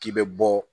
K'i bɛ bɔ